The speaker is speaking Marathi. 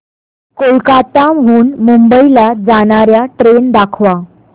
कोलकाता हून मुंबई ला जाणार्या ट्रेन दाखवा